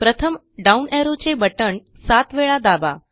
प्रथम down arrow चे button सात वेळा दाबा